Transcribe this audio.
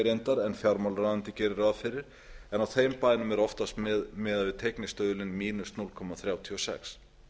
teygni en fjármálaráðuneytið gerir ráð fyrir en á þeim bænum er oftast miðað við teygnistuðulinn núll komma þrjátíu og sex